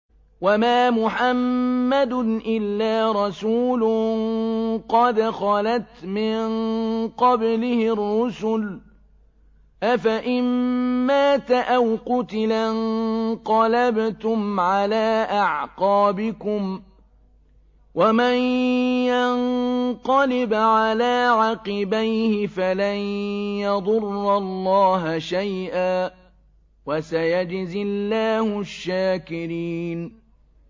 وَمَا مُحَمَّدٌ إِلَّا رَسُولٌ قَدْ خَلَتْ مِن قَبْلِهِ الرُّسُلُ ۚ أَفَإِن مَّاتَ أَوْ قُتِلَ انقَلَبْتُمْ عَلَىٰ أَعْقَابِكُمْ ۚ وَمَن يَنقَلِبْ عَلَىٰ عَقِبَيْهِ فَلَن يَضُرَّ اللَّهَ شَيْئًا ۗ وَسَيَجْزِي اللَّهُ الشَّاكِرِينَ